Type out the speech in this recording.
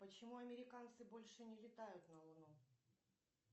почему американцы больше не летают на луну